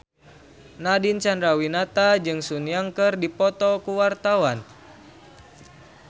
Nadine Chandrawinata jeung Sun Yang keur dipoto ku wartawan